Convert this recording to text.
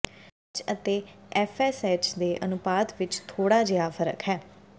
H ਅਤੇ FSH ਦੇ ਅਨੁਪਾਤ ਵਿੱਚ ਥੋੜ੍ਹਾ ਜਿਹਾ ਫ਼ਰਕ ਹੈ